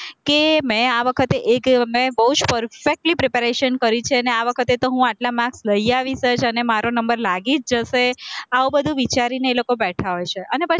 કે મેં આ વખતે એક બોવ જ perfectly preparation કરી છે ને આ વખતે તો હું આટલા marks લઇ આવીશ જ અને મારો number લાગી જ જશે, આવું બધું વિચારીને એ લોકો બેઠા હોય છે અને પછી